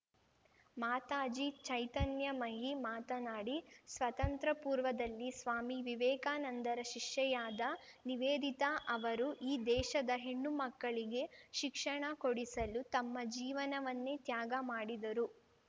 ಮಾತಾಜಿ ಚೈತನ್ಯಮಯಿ ಮಾತನಾಡಿ ಸ್ವತಂತ್ರ ಪೂರ್ವದಲ್ಲಿ ಸ್ವಾಮಿ ವಿವೇಕಾನಂದರ ಶಿಷ್ಯೆಯಾದ ನಿವೇದಿತಾ ಅವರು ಈ ದೇಶದ ಹೆಣ್ಣುಮಕ್ಕಳಿಗೆ ಶಿಕ್ಷಣ ಕೊಡಿಸಲು ತಮ್ಮ ಜೀವನವನ್ನೇ ತ್ಯಾಗ ಮಾಡಿದರು